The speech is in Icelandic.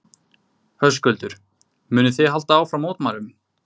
Höskuldur: Munið þið halda áfram mótmælum?